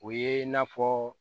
O ye n'a fɔ